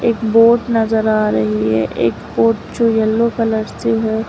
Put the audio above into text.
एक बोट नजर आ रही है एक बोट जो येलो कलर से है।